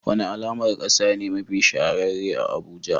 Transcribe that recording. Wani alamar kasa ne mafi shahararre a Abuja?